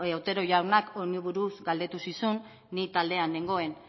otero jaunak honi buruz galdetu zizun ni taldean nengoen